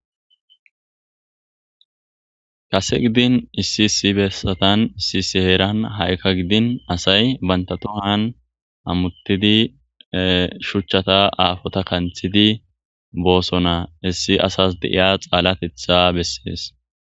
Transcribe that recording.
Kasse gidin issi issi besathan issi issi herathan hai' gidin assay banta tohan hamuthid shuchatha affotha kanthidi bossona. Heyssi assas de'ya xalatheta besses.